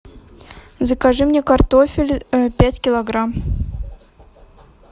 закажи мне картофель пять килограмм